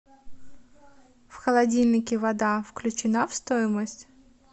в холодильнике вода включена в стоимость